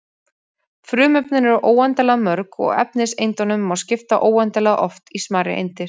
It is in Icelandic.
Frumefnin eru óendanlega mörg og efniseindunum má skipta óendanlega oft í smærri eindir.